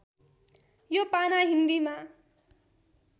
यो पाना हिन्दीमा